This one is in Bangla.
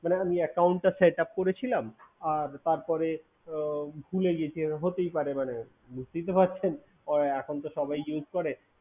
মানে আমি Account টা Setup করেছিলাম আর তারপরে ভুলে গেছি হতেই পারে কিন্তু ভাবছেন এখন তো সবাই use করে